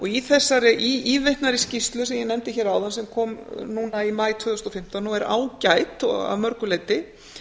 í þessari ívitnaðri skýrslu sem ég nefndi hér áðan sem kom núna í maí tvö þúsund og fimmtán og er ágæt að mörgu leiti